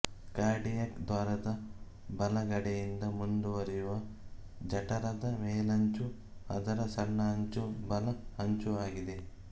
cardiac ದ್ವಾರದ ಬಲಗಡೆಯಿಂದ ಮುಂದುವರಿಯುವ ಜಠರದ ಮೇಲಂಚು ಅದರ ಸಣ್ಣ ಅಂಚೂ ಬಲ ಅಂಚೂ ಆಗಿದೆ